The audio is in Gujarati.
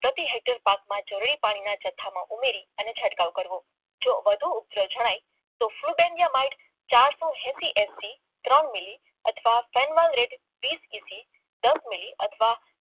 પ્રતિ હેક્ટર પાકમાં જરૂરી પાણી ભેળવીને જથ્થામાં ઉમેરીને છંટકાવ કરવો જો વધુ જણાય એસી એસી પાકે દસ મિલી અથવા